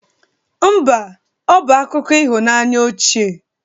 Mba, ọ bụ akụkọ ịhụnanya ochie